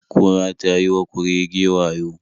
Kura ta yi wa kurege wayo.